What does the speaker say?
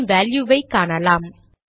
இதன் வேல்யுவை காணலாம்